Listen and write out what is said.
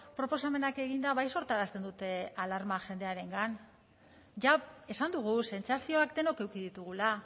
proposamenak eginda bai sortarazten dute alarma jendearengan ja esan dugu sentsazioak denok eduki ditugula